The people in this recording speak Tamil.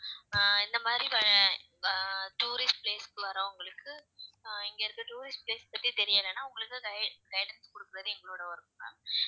அஹ் இந்த மாதிரி வர அஹ் tourist place க்கு வர்றவங்களுக்கு அஹ் இங்கயிருந்து tourist place பத்தி தெரியலைன்னா உங்களுக்கு gui~ guidance குடுக்கறது எங்களோட work ma'am